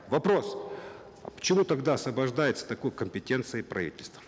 вопрос а почему тогда освобождается от такой компетенции правительство